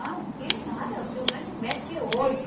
Não, que nada, o senhor vai no médico é hoje.